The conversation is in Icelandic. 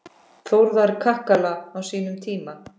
Þórðar kakala á sínum tíma.